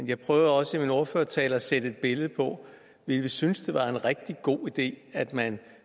jeg prøvede også i min ordførertale at sætte et billede på ville vi synes det var en rigtig god idé at man